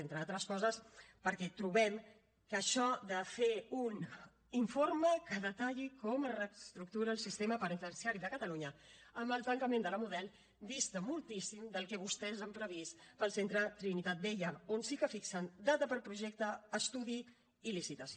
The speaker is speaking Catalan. entre altres coses perquè trobem que això de fer un informe que detalli com es reestructura el sistema penitenciari de catalunya amb el tancament de la model dista moltíssim del que vostès han previst per al centre trinitat vella on sí que fixen data per projecte estudi i licitació